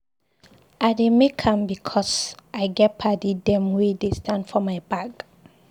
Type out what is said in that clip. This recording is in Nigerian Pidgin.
I dey make am because I get paddy dem wey dey stand for my back.